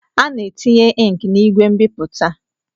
A na-etinye inki n'igwe mbipụta.